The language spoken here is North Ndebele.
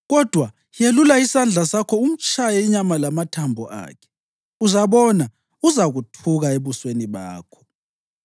Kodwa yelula isandla sakho umtshaye inyama lamathambo akhe, uzabona uzakuthuka ebusweni bakho.”